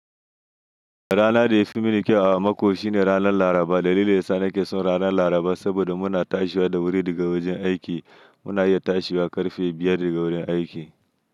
Ranar da ya fi mini kyau a mako shine ranar Laraba. Dalilin da yasa ke son ranar Laraba saboda muna tashiwa da wuri daga wajen aiki. Muna iya tashiwa ƙarfe biyar daga wurin aiki.